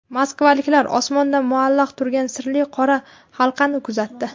Moskvaliklar osmonda muallaq turgan sirli qora halqani kuzatdi .